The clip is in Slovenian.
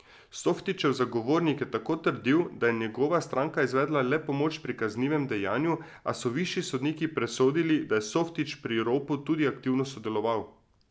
Softićev zagovornik je tako trdil, da je njegova stranka izvedla le pomoč pri kaznivem dejanju, a so višji sodniki presodili, da je Softić pri ropu tudi aktivno sodeloval.